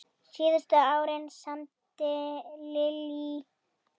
Síðustu árin samdi Lillý hækur.